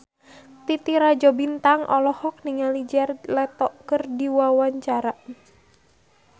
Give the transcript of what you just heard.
Titi Rajo Bintang olohok ningali Jared Leto keur diwawancara